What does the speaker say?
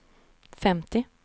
femtio